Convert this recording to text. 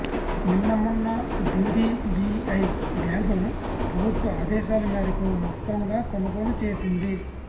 నిన్న మొన్న ఐడీబీఐ బ్యాంకును ప్రభుత్వ ఆదేశాల మేరకు మొత్తంగా కొనుగోలు చేసింది